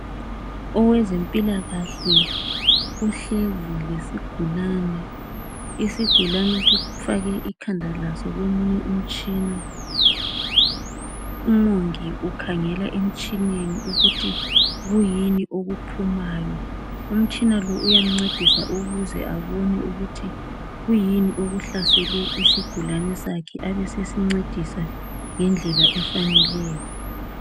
Owezempilakahle uhlezi lesigulane, isigulane sifake ikhanda laso komunye umtshina. Umongi ukhangela emtshineni ukuthi kuyini okuphumayo. Umtshina lo uyamncedisa ukuze abone ukuthi kuyini okuhlasele isigulane sakhe abe sesincedisa ngendlela efaneleyo.